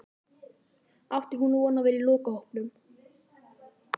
Átti hún von á að vera í lokahópnum?